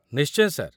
ନିଶ୍ଚୟ, ସାର୍ ।